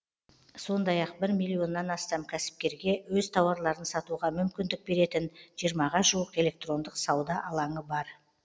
сондай ақ бір миллионнан астам кәсіпкерге өз тауарларын сатуға мүмкіндік беретін жиырмаға жуық электрондық сауда алаңы бар